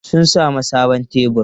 Sun sami sabon tebur.